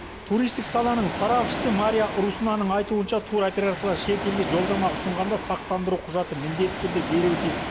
туристік саланың сарапшысы мария руснаның айтуынша туроператорлар шетелге жолдама ұсынғанда сақтандыру құжаты міндетті түрде беруі тиіс